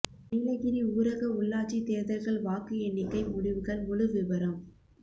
நீலகிரி ஊரக உள்ளாட்சித் தோ்தல்கள் வாக்கு எண்ணிக்கை முடிவுகள் முழு விபரம்